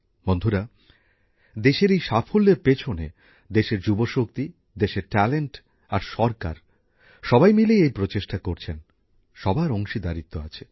বন্ধুরা দেশের এই সাফল্যের পিছনে দেশের যুবশক্তি দেশের প্রতিভা আর সরকার সবাই মিলেই এই প্রচেষ্টায় যুক্ত আছেন সবার অংশীদারিত্ব আছে